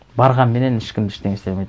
барғанменен ешкім ештеңе істей алмайды